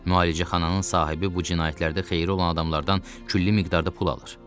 Müalicəxananın sahibi bu cinayətlərdə xeyri olan adamlardan külli miqdarda pul alır.